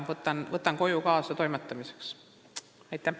Võtan selle koju kaasa, et sellega tegeleda.